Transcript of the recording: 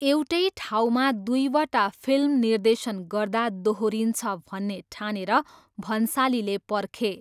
एउटै ठाउँमा दुईवटा फिल्म निर्देशन गर्दा दोहोरिन्छ भन्ने ठानेर भन्सालीले पर्खे।